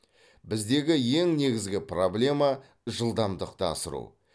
біздегі ең негізгі проблема жылдамдықты асыру